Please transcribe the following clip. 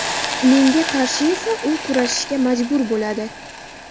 Menga qarshi esa u kurashishga majbur bo‘ladi.